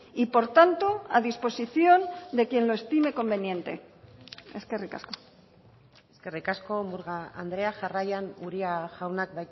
y por tanto a disposición de quien lo estime conveniente eskerrik asko eskerrik asko murga andrea jarraian uria jaunak